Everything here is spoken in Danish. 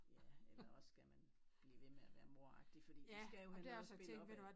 Ja eller også skal man blive ved med at være moragtig fordi de skal jo have noget at spille op ad